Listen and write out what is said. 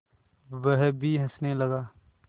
वह भी हँसने लगा